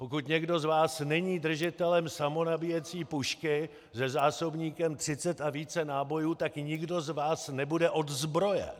Pokud někdo z vás není držitelem samonabíjecí pušky se zásobníkem 30 a více nábojů, tak nikdo z vás nebude odzbrojen!